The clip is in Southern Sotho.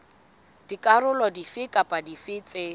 dikarolo dife kapa dife tse